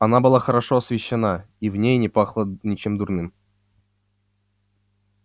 она была хорошо освещена и в ней не пахло ничем дурным